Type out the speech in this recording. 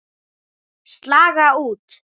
Slaga út.